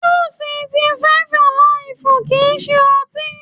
Júù sì fíífú àlìfù kìí ṣe ọtí.